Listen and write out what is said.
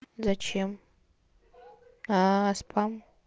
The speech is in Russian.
зачем спам